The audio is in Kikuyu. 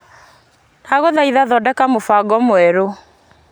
Ndagũthaitha thondeka mũbango mwerũ .